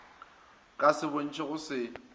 ka se bontšhe go se